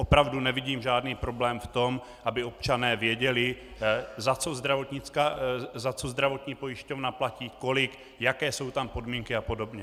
Opravu nevidím žádný problém v tom, aby občané věděli, za co zdravotní pojišťovna platí, kolik, jaké jsou tam podmínky a podobně.